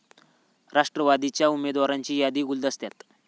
राष्ट्रवादीच्या उमेदवारांची यादी गुलदस्त्यात